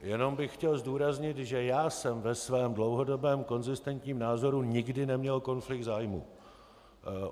Jenom bych chtěl zdůraznit, že já jsem ve svém dlouhodobém konzistentním názoru nikdy neměl konflikt zájmů.